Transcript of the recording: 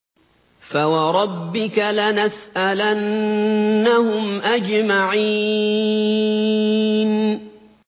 فَوَرَبِّكَ لَنَسْأَلَنَّهُمْ أَجْمَعِينَ